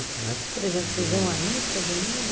Né. Por exemplo, vocês iam à missa domingo?